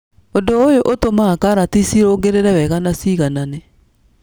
ũndu ũyũ ũtũmaga karati cirũngĩrĩre wega na ciganane.